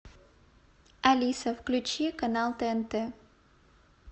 алиса включи канал тнт